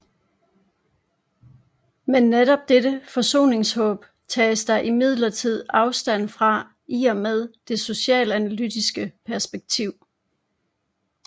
Men netop dette forsoningshåb tages der imidlertid afstand fra i og med det socialanalytiske perspektiv